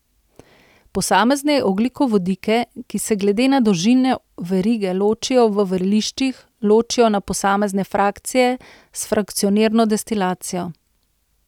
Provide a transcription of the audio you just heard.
Posamezne ogljikovodike, ki se glede na dolžino verige ločijo v vreliščih, ločijo na posamezne frakcije s frakcionirno destilacijo.